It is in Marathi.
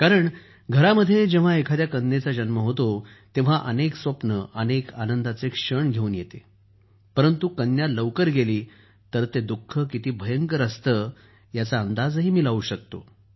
कारण घरात जेव्हा एखाद्या कन्येचा जन्म होतो तेव्हा अनेक स्वप्ने अनेक आनंद घेऊन येतात परंतु जेव्हा कन्या लवकर गेली तर ते दुःख किती भयंकर असते त्याचा अंदाज मी लावू शकतो